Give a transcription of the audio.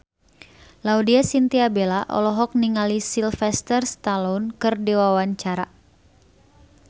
Laudya Chintya Bella olohok ningali Sylvester Stallone keur diwawancara